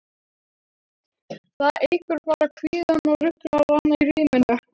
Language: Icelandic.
Það eykur bara kvíðann og ruglar hana í ríminu.